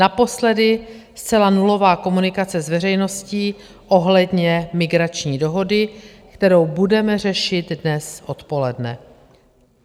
Naposledy zcela nulová komunikace s veřejností ohledně migrační dohody, kterou budeme řešit dnes odpoledne.